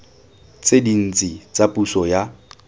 tse dintsi tsa puso ya